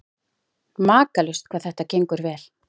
Makalaust hvað þetta gengur vel.